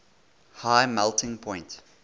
high melting point